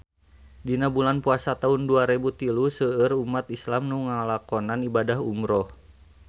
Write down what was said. Dina bulan Puasa taun dua rebu tilu seueur umat islam nu ngalakonan ibadah umrah